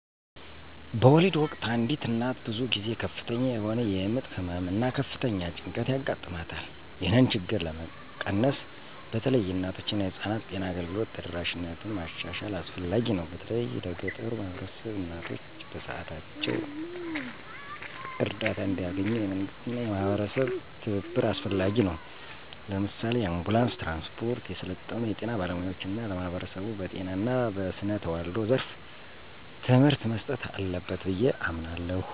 በወሊድ ወቅት አንዲት እናት ብዙ ጊዜ ከፍተኛ የሆነ የምጥ ህመም እና ከፍተኛ ጭንቀት ያጋጥማታል። ይህንን ችግር ለመቀነስ በተለይ የእናቶችና የህፃናት ጤና አገልግሎት ተደራሽነትን ማሻሻል አስፈላጊ ነው፤ በተለይም ለገጠሩ ማህበረሰቦች። እናቶች በሰዓታቸው እርዳታ እንዲያገኙ፣ የመንግስትና የማህበረሰብ ትብብር አስፈላጊ ነው። ለምሳሌ፣ የአንቡላንስ ትራንስፖርት፣ የሰለጠኑ የጤና ባለሙያዎች እና ለማህበረሰቡ በጤና እና በስነ ተዋልዶ ዘርፍ ትምህርት መስጠት አለበት ብዬ አምናለሁ።